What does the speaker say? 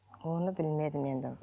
оны білмедім енді